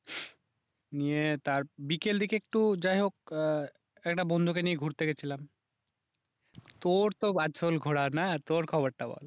নিয়ে তার বিকেল দিকে একটু যাই হোক আহ একটা বন্ধুকে নিয়ে ঘুরতে গেছিলাম তোর তো আসল ঘোরা না তোর খবরটা বল?